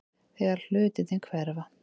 Þegar hlutirnir hverfa